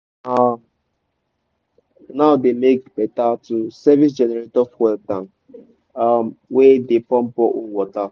na now dey better to service generator fuel tank um wey dey pump borehole water.